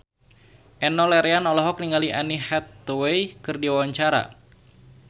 Enno Lerian olohok ningali Anne Hathaway keur diwawancara